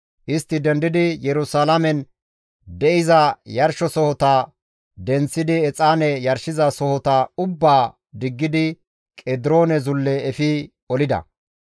Istti dendidi Yerusalaamen de7iza yarshizasohota denththidi exaane yarshizasohota ubbaa diggidi Qediroone Zulle efi olida.